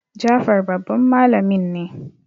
Jafar babban malamin ne